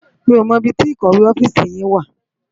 Mi ó mò ibi ti ikòwé òfisi yin wá